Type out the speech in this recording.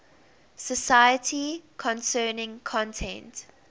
society concerning content